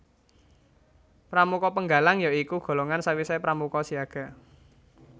Pramuka Penggalang ya iku golongan sawisé pramuka siaga